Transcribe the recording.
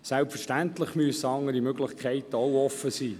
Selbstverständlich müssen auch andere Möglichkeiten offenstehen.